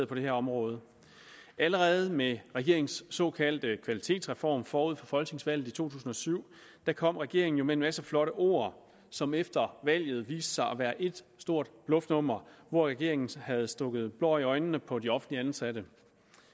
på det her område allerede med regeringens såkaldte kvalitetsreform forud for folketingsvalget i to tusind og syv kom regeringen jo med en masse flotte ord som efter valget viste sig at være et stort bluffnummer hvor regeringen havde stukket blår i øjnene på de offentligt ansatte